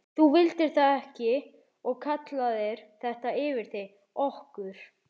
Þú vildir það ekki og kallaðir þetta yfir þig, okkur.